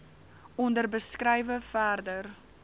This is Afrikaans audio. onder beskrywe verder